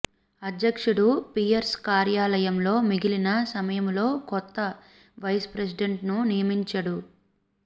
అధ్యక్షుడు పియర్స్ కార్యాలయంలో మిగిలిన సమయములో కొత్త వైస్ ప్రెసిడెంట్ను నియమించడు